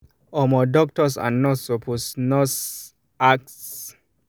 omo doctors and nurse supposed nurse supposed dey ask patients about them spiritual beliefs with respect for the patient